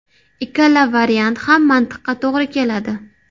Ikkala variant ham mantiqqa to‘g‘ri keladi.